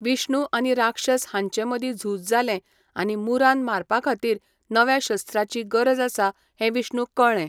विष्णु आनी राक्षस हांचेमदीं झूज जालें आनी मुरान मारपाखातीर नव्या शस्त्राची गरज आसा हें विष्णूक कळ्ळें.